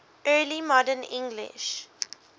early modern english